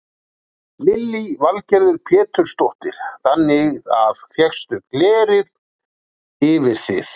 Lillý Valgerður Pétursdóttir: Þannig að fékkstu glerið yfir þið?